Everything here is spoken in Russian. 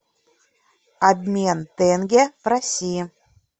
обмен тенге в россии